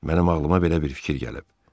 Mənim ağlıma belə bir fikir gəlib.